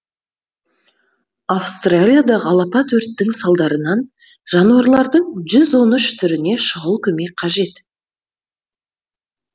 австралиядағы алапат өрттің салдарынан жануарлардың жүз он үш түріне шұғыл көмек қажет